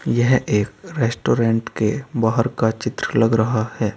यह एक रेस्टोरेंट के बाहर का चित्र लग रहा है।